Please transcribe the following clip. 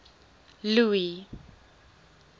louis